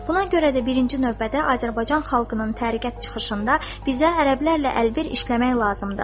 Buna görə də birinci növbədə Azərbaycan xalqının təriqət çıxışında bizə ərəblərlə əlbir işləmək lazımdır.